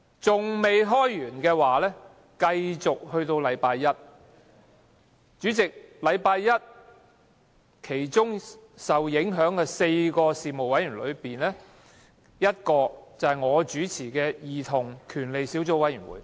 主席，假如下周一續會，將有4個事務委員會的會議受影響，其中之一是由我主持的兒童權利小組委員會。